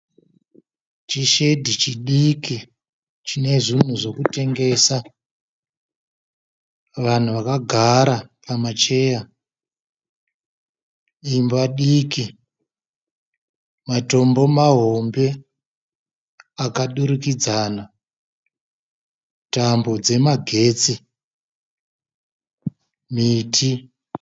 Chi shedi chidiki chine zvinhu zvekutengesa. Vanhu vakagara pama cheya. Imba diki. Matombo mahombe akadurikidzana. Tambo dzemagetsi, miti.